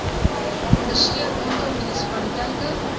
ondersteun aantal munisipaliteite